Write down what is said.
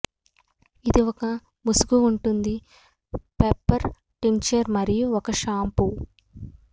ఇది ఒక ముసుగు ఉంటుంది పెప్పర్ టింక్చర్ మరియు ఒక షాంపూ